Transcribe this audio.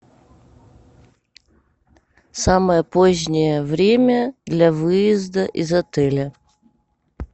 самое позднее время для выезда из отеля